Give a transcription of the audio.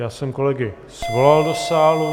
Já jsem kolegy svolal do sálu.